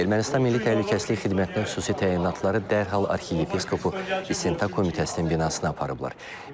Ermənistan Milli Təhlükəsizlik Xidmətinin xüsusi təyinatları dərhal arxiyepiskopu İstintaq komitəsinin binasına aparıblar.